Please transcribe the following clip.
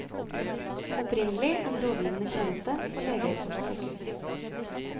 Opprinnelig en rådgivende tjeneste for leger og sykehus.